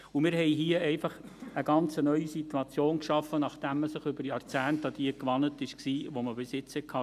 Und wir haben hier einfach eine ganz neue Situation geschaffen, nachdem man über Jahrzehnte an jene gewöhnt war, die man bis jetzt hatte.